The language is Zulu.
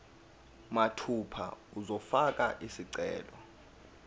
mathupha uzofaka isicelo